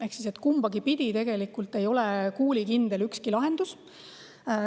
Ehk siis kumbagi pidi, ükski lahendus ei ole tegelikult kuulikindel.